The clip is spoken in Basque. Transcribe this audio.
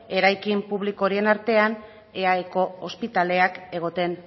eraikin publikoren artean eaeko ospitaleak egoten